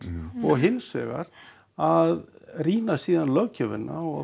hins vegar að rýna síðan löggjöfina og